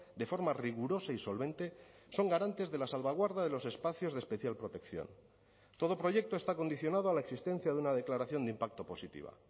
de forma rigurosa y solvente son garantes de la salvaguarda de los espacios de especial protección todo proyecto está condicionado a la existencia de una declaración de impacto positiva